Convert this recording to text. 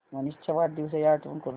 मनीष च्या वाढदिवसाची आठवण करून दे